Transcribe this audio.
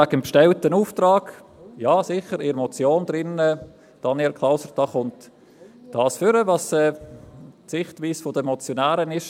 Wegen des bestellten Auftrags: Ja, sicher, Daniel Klauser, aus der Motion geht die Sichtweise der Motionäre hervor.